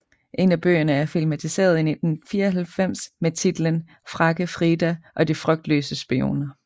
En af bøgerne er filmatiseret i 1994 med titlen Frække Frida og de frygtløse spioner